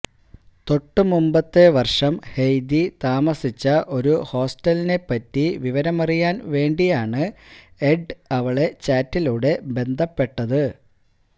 തൊട്ടുമുമ്പത്തെ വർഷം ഹെയ്ദി താമസിച്ച ഒരു ഹോസ്റ്റലിനെപ്പറ്റി വിവരമറിയാൻ വേണ്ടിയാണ് എഡ് അവളെ ചാറ്റിലൂടെ ബന്ധപ്പെട്ടത്